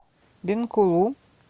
бенкулу